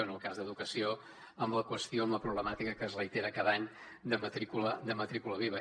en el cas d’educació amb la qüestió amb la problemàtica que es reitera cada any de matrícula viva